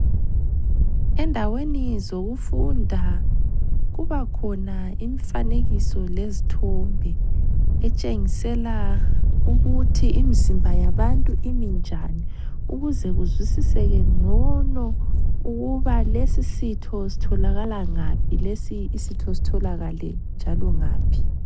Endaweni zokufunda, kubakhona imfanekiso lezithombe, etshengisela ukuthi imizimba yabantu iminjani, ukuze kuzwisisekengcono ukuba lesisitho sitholakala ngaphi lesi isitho sitholakale njalo ngaphi